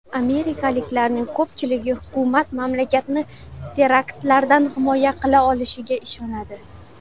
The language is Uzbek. Amerikaliklarning ko‘pchiligi hukumat mamlakatni teraktlardan himoya qila olishiga ishonadi.